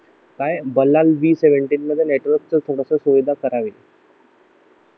काय बलान V seven मध्ये नेटवर्क थोडेसे सुविधा करावी